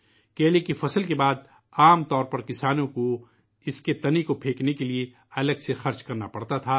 کیلے کی فصل کے بعد عام طور پر کسانوں کو ، اِس کے تنے کو پھینکنے کے لئے الگ سے خرچ کرنا پڑتا تھا